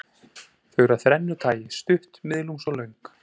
Þau eru af þrennu tagi, stutt, miðlungs og löng.